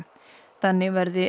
þannig verði